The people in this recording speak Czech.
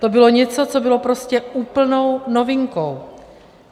To bylo něco, co bylo prostě úplnou novinkou.